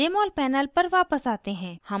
jmol panel पर वापस आते हैं